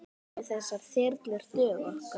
Munu þessar þyrlur duga okkur?